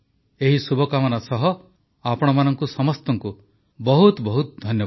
ଏହି ଶୁଭକାମନା ସହ ଆପଣମାନଙ୍କୁ ସମସ୍ତଙ୍କୁ ବହୁତ ବହୁତ ଧନ୍ୟବାଦ